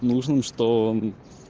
нужен что он